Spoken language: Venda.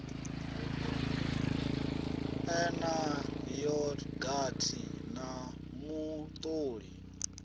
ḓe na yogathi na mutoli